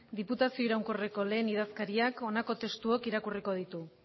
diputazio iraunkorreko lehen idazkariak honako testuok irakurriko ditu